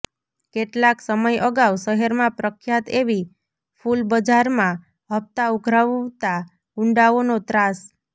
કેટલાંક સમય અગાઉ શહેરમાં પ્રખ્યાત એવી ફુલબજારમાં હપ્તા ઊઘરાવતાં ગુંડાઓનો ત્રાસ